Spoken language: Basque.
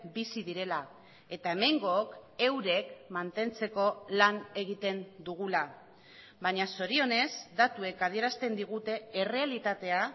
bizi direla eta hemengook eurek mantentzeko lan egiten dugula baina zorionez datuek adierazten digute errealitatea